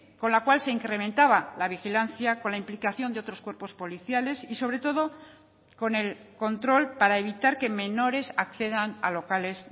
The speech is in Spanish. con la cual se incrementaba la vigilancia con la implicación de otros cuerpos policiales y sobre todo con el control para evitar que menores accedan a locales